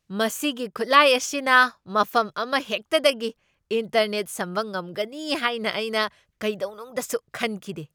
ꯃꯁꯤꯒꯤ ꯈꯨꯠꯂꯥꯏ ꯑꯁꯤꯅ ꯃꯐꯝ ꯑꯃꯍꯦꯛꯇꯗꯒꯤ ꯏꯟꯇꯔꯅꯦꯠ ꯁꯝꯕ ꯉꯝꯒꯅꯤ ꯍꯥꯏꯅ ꯑꯩꯅ ꯀꯩꯗꯧꯅꯨꯡꯗꯁꯨ ꯈꯟꯈꯤꯗꯦ ꯫